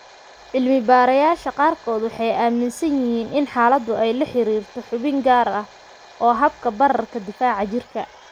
Cilmi-baarayaasha qaarkood waxay aaminsan yihiin in xaaladdu ay la xiriirto xubin gaar ah oo habka bararka difaaca jirka.